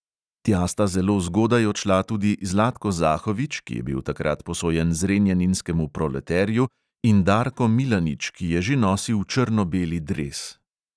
Tja sta zelo zgodaj odšla tudi zlatko zahovič, ki je bil takrat posojen zrenjaninskemu proleterju, in darko milanič, ki je že nosil črno-beli dres.